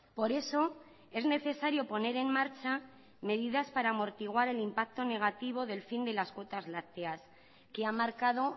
por eso es necesario poner en marcha medidas para amortiguar el impacto negativo del fin de las cuotas lácteas que ha marcado